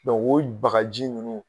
o bagaji nunnu